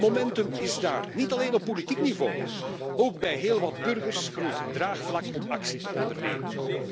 Het momentum is daar, niet alleen op politiek niveau, ook bij heel wat burgers groeit het draagvlak om actie te ondernemen.